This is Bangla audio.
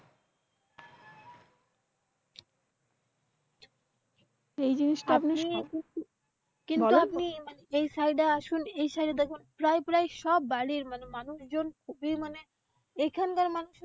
এই জিনিসটা আপনি সব দিকতে কিন্তু আপনি এই সালটা আসুন এই সালে দেখুন প্রায় প্রায় সবা বাড়ীর মানুষজন খুবই মানে এখানকার,